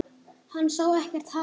Hann sá ekkert hatur.